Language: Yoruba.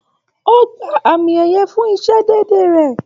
O gbà àmi ẹyẹ fún isé déédé rẹ.